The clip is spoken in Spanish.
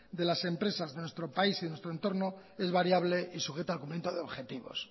de las empresas de nuestro país y de nuestro entorno es variable y sujeta al cumplimiento de objetivos